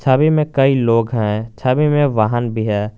छवि में कई लोग हैं छवि में वाहन भी है।